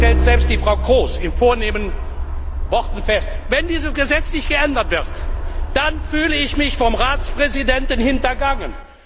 Das stellt selbst Frau Kroes in vornehmen Worten fest. Wenn dieses Gesetz nicht geändert wird, fühle ich mich vom Ratspräsidenten hintergangen.